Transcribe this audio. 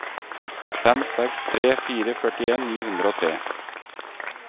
fem seks tre fire førtien ni hundre og tre